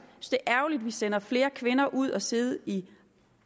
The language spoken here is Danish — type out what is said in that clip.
at vi sender flere kvinder ud at sidde i